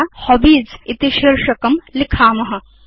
अथ वयं हॉबीज इति शीर्षकं लिखेम